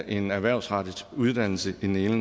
en erhvervsrettet uddannelse i den ene